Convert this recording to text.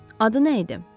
Adı nə idi?